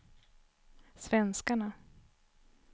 svenskarna